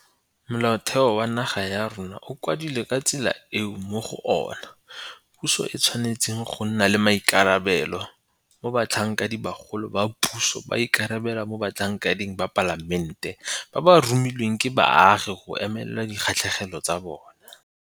Molaotheo wa naga ya rona o kwadilwe ka tsela eo mo go ona puso e tshwanetseng go nna le maikarabelo, mo Batlhankedibagolo ba puso ba ikarabelang mo batlhankeding ba Palamente ba ba romilweng ke baagi go emela dikgatlhegelo tsa bona.